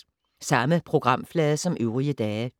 Samme programflade som øvrige dage